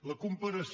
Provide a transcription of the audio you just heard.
la comparació